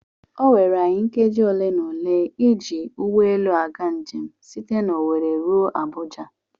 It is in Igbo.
Oweere anyị nkeji ole na ole ịji ụgbọelu aga njem site n'Owere ruo Abuja.